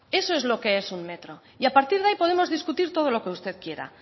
eso es lo que es un metro y a partir de ahí podemos discutir todo lo que usted quiera